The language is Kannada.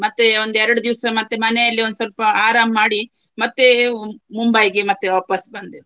ಮತ್ತೆ ಒಂದು ಎರಡು ದಿವಸ ಮತ್ತೆ ಮನೆಯಲ್ಲಿ ಒಂದು ಸ್ವಲ್ಪ ಆರಾಮ್ ಮಾಡಿ ಮತ್ತೆ ಮುಂಬೈಗೆ ಮತ್ತೆ ವಾಪಾಸ್ ಬಂದೆವು.